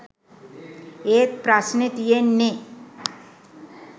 ඒත් ප්‍රශ්නෙ තියෙන්නෙ